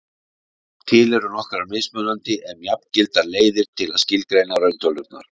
til eru nokkrar mismunandi en jafngildar leiðir til að skilgreina rauntölurnar